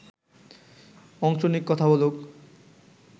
অংশ নিক, কথা বলুক